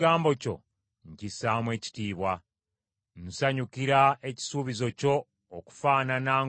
Nsanyukira ekisuubizo kyo okufaanana ng’oyo afunye obugagga obungi.